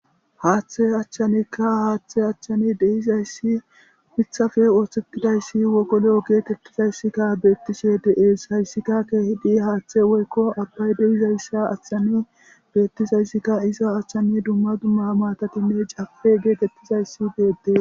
Haaththe achchanekka haaththe achchani deizayssi mithafe oothtetidayssi wogolo geetettizayssikka beettishe deees hayssika keehidi haaththe woykko abbay deizayssa achchani beettizayssikka iza achchani dumma dumma matatinne cape geetettizayssi deede.